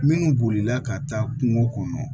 Minnu bolila ka taa kungo kɔnɔ